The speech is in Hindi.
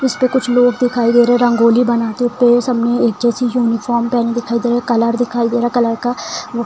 इसपे कुछ लोग दिखाई दे रहे है रंगोली बनाते पे सबमे एक जैसी यूनिफार्म पेहनी दिखाई दे रहे है कलर दिखाई दे रहा है कलर का वो --